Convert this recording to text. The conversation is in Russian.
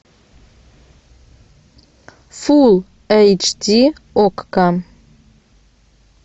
фул эйч ди окко